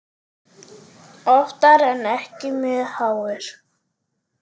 Oftar en ekki mjög háir.